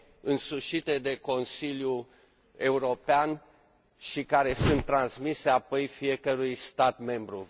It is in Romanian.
însușite de Consiliul European și care sunt transmise apoi fiecărui stat membru.